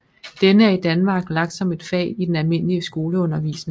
Denne er i Danmark lagt som et fag i den almindelige skoleundervisning